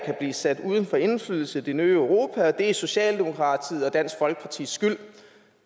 blive sat uden for indflydelse i det nye europa og at det er socialdemokratiets og dansk folkepartis skyld